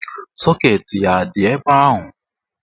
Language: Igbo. Sọket ya a dị ebe ahụ?